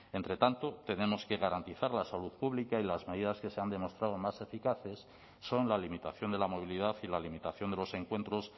entre tanto tenemos que garantizar la salud pública y las medidas que se han demostrado más eficaces son la limitación de la movilidad y la limitación de los encuentros